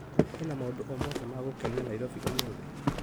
Kwĩna maũndũ o mothe ma gũkenia Naĩrobĩ ũmũthĩ .